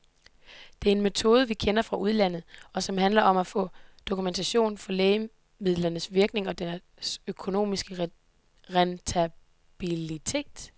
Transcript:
Det er en metode, vi kender fra udlandet, og som handler om at få dokumentation for lægemidlernes virkning og deres økonomiske rentabilitet.